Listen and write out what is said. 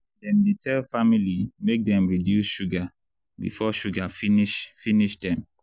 dem dey tell family make dem reduce sugar before sugar finish finish dem.